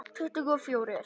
Tuttugu og fjórir!